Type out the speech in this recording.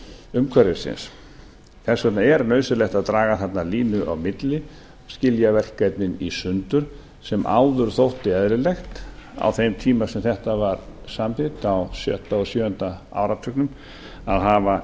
umhverfisins þess vegna er nauðsynlegt að draga þarna línu á milli og skilja verkefnin í sundur sem áður þótti eðlilegt á þeim tíma sem þetta var samþykkt á sjötta og sjöunda áratugnum að hafa